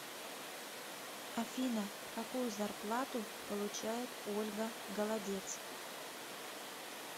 афина какую зарплату получает ольга голодец